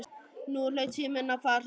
Nú hlaut síminn að fara að hringja.